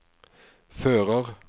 fører